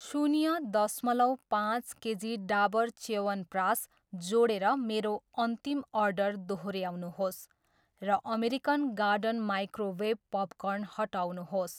शून्य दसमलव पाँच केजी डाबर च्यवनप्रास जोडेर मेरो अन्तिम अर्डर दोहोऱ्याउनुहोस् र अमेरिकन गार्डन माइक्रोवेभ पपकर्न हटाउनुहोस्।